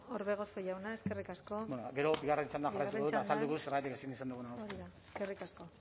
orbegozo jauna eskerrik asko bueno gero bigarren txandan jarraituko dut eta azalduko dut zergatik hori da eskerrik asko